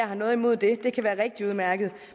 har noget imod det det kan være rigtig udmærket